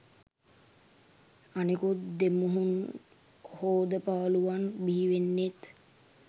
අනෙකුත් දෙමුහුන් හෝදපාලුවන් බිහිවෙන්නෙත්.